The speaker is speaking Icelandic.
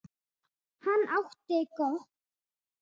En hann átti gott.